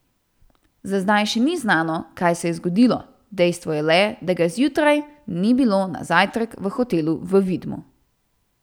Za zdaj še ni znano, kaj se je zgodilo, dejstvo je le, da ga zjutraj ni bilo na zajtrk v hotelu v Vidmu.